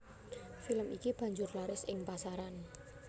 Film iki banjur laris ing pasaran